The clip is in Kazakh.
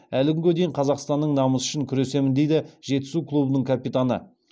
әлі күнге дейін қазақстанның намысы үшін күресемін дейді жетісу клубының капитаны